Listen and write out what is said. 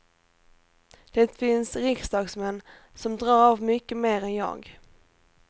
Det finns riksdagsmän som drar av mycket mer än jag.